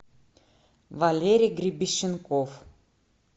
валерий гребещенков